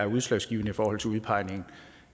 udslagsgivende i forhold til udpegningen